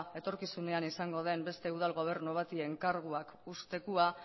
etorkizunean izango den beste udal gobernu bati enkargua ustekoa